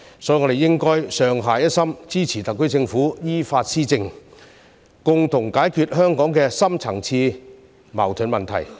所以，我們應該上下一心，支持特區政府依法施政，共同解決香港的深層次矛盾問題。